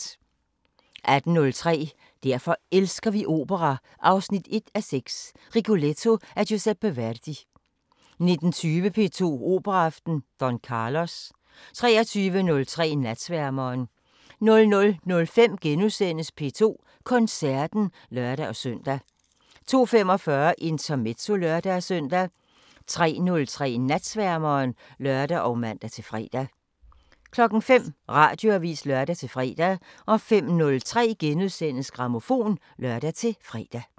18:03: Derfor elsker vi opera 1:6 – Rigoletto af Giuseppe Verdi 19:20: P2 Operaaften: Don Carlos 23:03: Natsværmeren 00:05: P2 Koncerten *(lør-søn) 02:45: Intermezzo (lør-søn) 03:03: Natsværmeren (lør og man-fre) 05:00: Radioavisen (lør-fre) 05:03: Grammofon *(lør-fre)